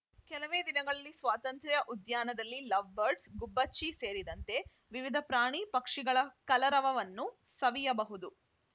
ಕೆಲವೇ ದಿನಗಳಲ್ಲಿ ಸ್ವಾತಂತ್ರ್ಯ ಉದ್ಯಾನದಲ್ಲಿ ಲವ್‌ಬರ್ಡ್ಸ್ ಗುಬ್ಬಚ್ಚಿ ಸೇರಿಂತೆ ವಿವಿಧ ಪ್ರಾಣಿ ಪಕ್ಷಿಗಳ ಕಲರವವನ್ನು ಸವಿಯಬಹುದು